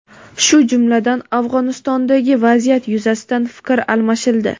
shu jumladan Afg‘onistondagi vaziyat yuzasidan fikr almashildi.